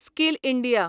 skill India